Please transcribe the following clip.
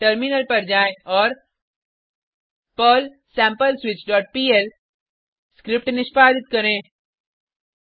अब टर्मिनल पर जाएँ और पर्ल sampleswitchपीएल स्क्रिप्ट निष्पादित करें